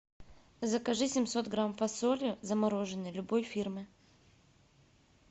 закажи семьсот грамм фасоли замороженной любой фирмы